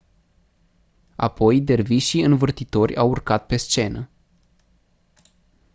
apoi dervișii învârtitori au urcat pe scenă